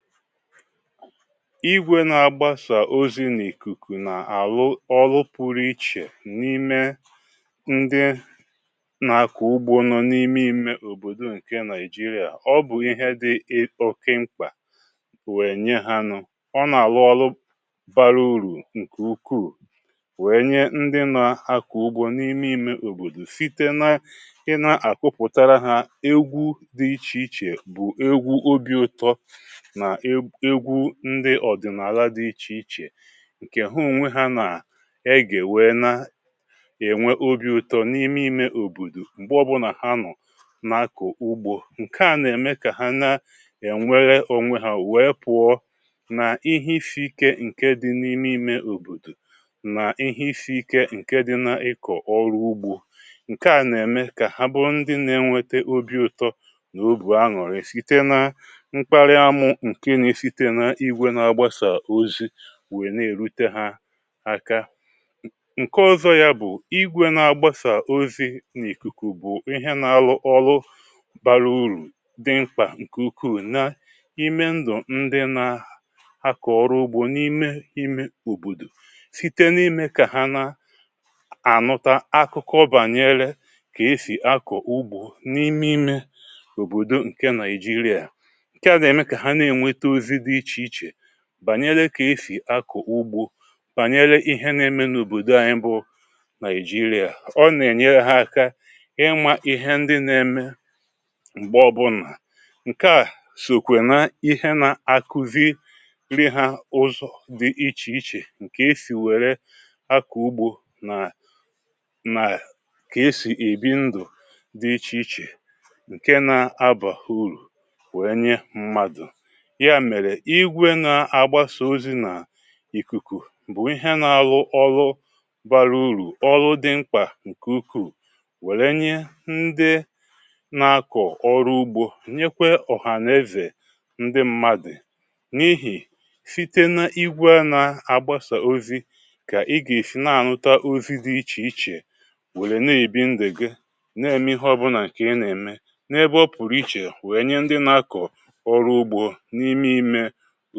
Igwè na-agbàsà ozì n’ìkùkù n’àlụ ọlụ pụrụ ichè n’ime ndị nà-akọ̀ ugbȯ nọ n’ime imė òbòdò ǹkè Nàịjirià. Ọ bụ̀ ihe dị̀ ị o oké mkpà wèe nye ha nụ̇. Ọ nà-àlụ ọlụ bara uru ǹkè ukwuu wèe nye ndị na akọ̀ ugbȯ n’ime imė òbòdò site na ị nà-àkụpụ̀tara ha egwù dị ichè ichè bụ̀ egwù obiụtọ na e egwù ndị ọ̀dị̀nààla dị̇ ichè ichè, ǹkè ha ònwe ha nà-egè wee na ènwe obi ụtọ n’ime imė òbòdò m̀gbè ọbụnà ha nọ̀ na-akọ̀ ugbȯ. Ǹke à nà-ème kà ha na ènwere onwe ha wèe pụ̀ọ nà ihe isi̇ike ǹke dị n’ime imė òbòdò nà ihe isi̇ike ǹke dị na-ịkọ̀ ọrụ ugbȯ. Ǹke à nà-ème kà ha bụ ndị nà-enweta obi ụtọ nà obu aṅurị site na mkpàri amu nke na-esite n’igwè na-agbasa ozi weè nà-èrute ha aka. N ǹke ọzọ ya bụ̀ igwe na-agbasa ozi n’ìkùkù bụ̀ ihe nà-alụ ọlụ bàra urù di mkpà ǹkè ukwuu na ime ndụ̀ ndị nà-akọ̀ ọrụ ugbȯ n’ime ime òbòdò site n’ime kà ha na ànuta akụkọ bànyèlè kà esì akọ̀ ugbȯ n’ime ime òbòdò ǹke Nàịjirià. Ǹke a na-eme ka ha na-enwete ozi dị ichè ichè bànyere kà esì akọ̀ ugbȯ, bànyere ihe na-eme n’òbòdo anyị bụ Nàị̀jirià. Ọ nà-ènyere ha aka imȧ ihe ndị na-eme ṁgbe ọbụna. Ǹkè a sokwe na ihe nà-àkụzi ri̇ hȧ ụzọ̀ dị ichè ichè ǹkè e sì wère akọ̀ ugbo nà nà kà e sì èbi ndụ̀ dị ichè ichè ǹke nȧ-abà urù wère nye mmadụ̀. Ya mere igwė na-agbasa ozi n’ìkùkù bụ̀ ihe na-alụ ọlụ barà urù, ọlụ dị mkpà ǹkè ukwuu, wère nye ndị na-akọ̀ ọrụ ugbȯ, nyekwe ọ̀hànèzè ndị mmadị̀; n’ihì, site n’igwè a na-agbasa ozi, kà ị gà-èsi na-ànuta ozi dị ichè ichè wère na-èbi ndu gị̀, na-èm̀e ihe ọbụnà ǹkè ị nà-ème, n’ebe ọ pụ̀rụ̀ ichè wèe nye ndị na-akọ̀ ọrụ ugbȯ n’ime imė o